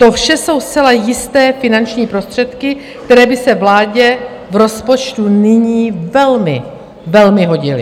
To vše jsou zcela jisté finanční prostředky, které by se vládě v rozpočtu nyní velmi, velmi hodily.